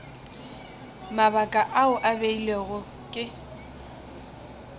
mabaka ao a beilwego ke